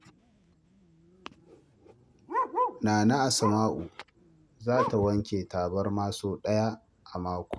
Nana Asma'u za ta wanke tabarma sau ɗaya a mako.